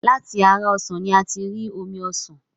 Láti ara ọsàn ni a tí ń rí omi ọsàn.